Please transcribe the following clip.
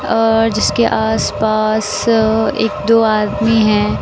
अ जिसके आस पास अ एक दो आदमी हैं।